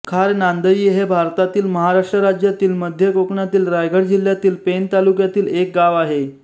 खार नांदई हे भारतातील महाराष्ट्र राज्यातील मध्य कोकणातील रायगड जिल्ह्यातील पेण तालुक्यातील एक गाव आहे